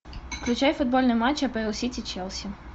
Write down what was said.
включай футбольный матч апл сити челси